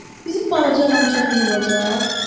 Corc, bizim balaca rançomuz olacaq?